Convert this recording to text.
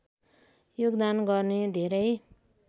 योगदान गर्ने धेरै